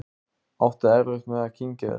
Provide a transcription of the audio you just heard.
Átti erfitt með að kyngja þessu.